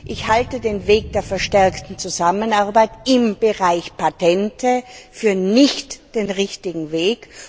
Ich halte den Weg der verstärkten Zusammenarbeit im Bereich Patente nicht für den richtigen Weg.